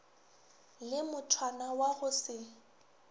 le mothwana wa go se